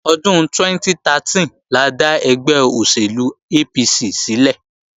Ọdún 2013 la dá ẹgbẹ́ òṣèlú APC sílẹ̀